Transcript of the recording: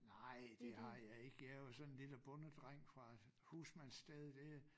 Nej det har jeg ik jeg er jo sådan en lille bondedreng fra husmandssted dér